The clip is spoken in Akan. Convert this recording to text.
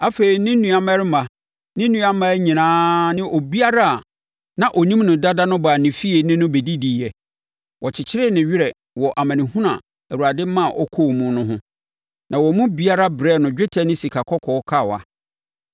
Afei, ne nuammarima, ne nuammaa nyinaa ne obiara a na ɔnim no dada no baa ne fie ne no bɛdidiiɛ. Wɔkyekyeree ne werɛ wɔ amanehunu a Awurade ma ɔkɔɔ mu no ho, na wɔn mu biara brɛɛ no dwetɛ ne sikakɔkɔɔ kawa.